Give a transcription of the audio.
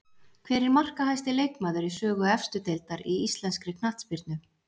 Hver er markahæsti leikmaður í sögu efstu deildar í íslenskri knattspyrnu?